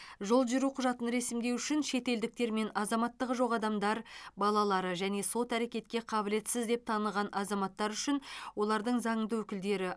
жол жүру құжатын ресімдеу үшін шетелдіктер мен азаматтығы жоқ адамдар балалары және сот әрекетке қабілетсіз деп таныған азаматтар үшін олардың заңды өкілдері